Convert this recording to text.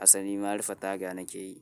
Asali marufe taga nake yi.